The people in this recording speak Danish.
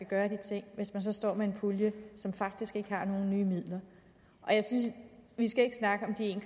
gøre de ting hvis man så står med en pulje som faktisk ikke har nogen nye midler vi skal ikke snakke om de en